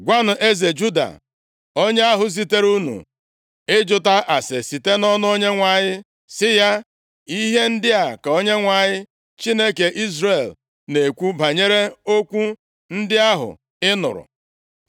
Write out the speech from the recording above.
Gwanụ eze Juda, onye ahụ zitere unu ịjụta ase site nʼọnụ Onyenwe anyị sị ya, ‘Ihe ndị a ka Onyenwe anyị, Chineke Izrel na-ekwu banyere okwu ndị ahụ ị nụrụ.